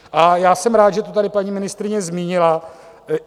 A já jsem rád, že to tady paní ministryně zmínila.